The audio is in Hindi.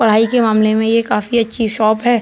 पढ़ाई के मामले में ये काफी अच्छी सी शॉप हैं।